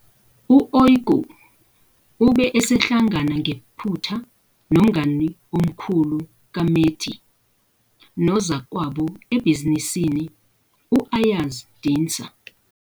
U-kykü ube esehlangana ngephutha nomngani omkhulu kaMete nozakwabo ebhizinisini u-Ayaz Dincer.